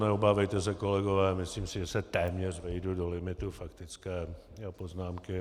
Neobávejte se, kolegové, myslím si, že se téměř vejdu do limitu faktické poznámky.